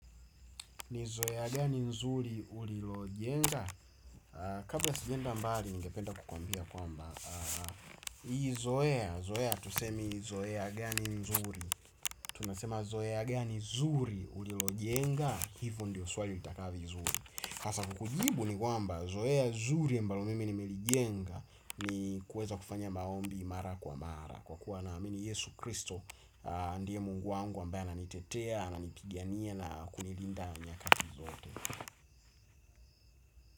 Ni zoea gani nzuri ulilo jenga. Kabla sijaenda mbali ningependa kukuambia kwamba hii zoea, zoea hatusemi zoea gani nzuri. Tunasema zoea gani zuri ulilo jenga. Hivo ndio swali utakavi zuri. Hasafu kujibu ni kwamba zoea zuri mbalo mimi ni milijenga. Ni kueza kufanya maombi mara kwa mara. Kwa kuwa na amini Yesu Kristo. Ndiye mungu wangu ambaye ana nitetea ana nipigania na kunilinda miaka zote.